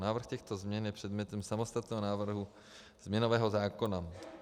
Návrh těchto změn je předmětem samostatného návrhu změnového zákona.